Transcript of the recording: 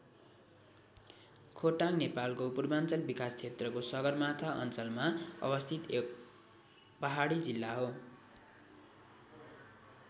खोटाङ नेपालको पूर्वाञ्चल विकास क्षेत्रको सगरमाथा अञ्चलमा अवस्थित एक पहाडी जिल्ला हो।